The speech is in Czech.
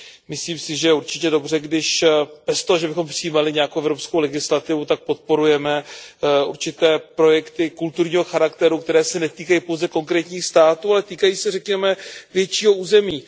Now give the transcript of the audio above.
Myslím si, že je určitě dobře, když, aniž bychom přijímali nějakou evropskou legislativu, podporujeme určité projekty kulturního charakteru, které se netýkají pouze konkrétních států, ale týkají se, řekněme, většího území.